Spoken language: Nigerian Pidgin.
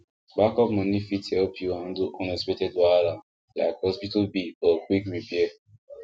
backup money fit help you handle unexpected wahala like hospital bill or quick repair